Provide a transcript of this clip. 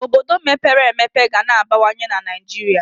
Obodo mepere emepe ga na-abawanye na Naịjirịa.